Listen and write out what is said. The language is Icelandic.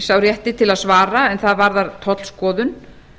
sá rétti til að svara en það varðar tollskoðun